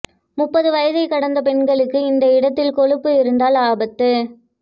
முப்பது வயதை கடந்த பெண்களுக்கு இந்த இடத்தில் கொழுப்பு இருந்தால் ஆபத்து